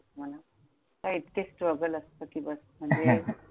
इतके struggle असतं कि बस! म्हणजे